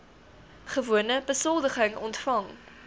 gewone besoldiging ontvang